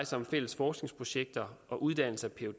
sig om fælles forskningsprojekter og uddannelse af